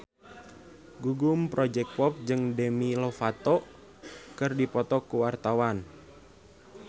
Gugum Project Pop jeung Demi Lovato keur dipoto ku wartawan